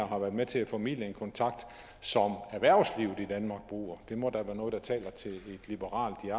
har været med til at formidle en kontakt som erhvervslivet i danmark bruger det må da være noget der taler til et liberalt